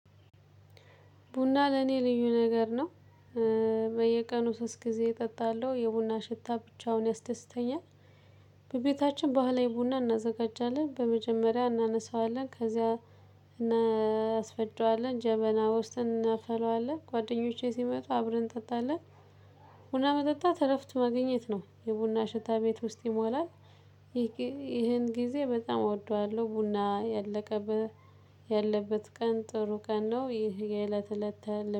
ቡና ለኔ ልዩ ነገር ነው። በየቀኑ ሶስት ጊዜ እጠጣለሁ። የቡና ሽታ ብቻውን ያስደስተኛል። በቤታችን ባህላዊ ቡና እናዘጋጃለን። በመጀመሪያ እናነሳዋለን ከዚያ እናስፈጨዋለን ጀበና ውስጥ እናፈለዋለን። ጓደኞቼ ሲመጡ አብረን እንጠጣለን። ቡና መጠጣት እረፍት ማግኘት ነው። የቡና ሽታ ቤት ውስጥ ይሞላል። ይሄን ጊዜ በጣም እወደዋለሁ። ቡና ያለቀበ ያለበት ቀን ጥሩ ቀን ነው ይህ የእለት እለት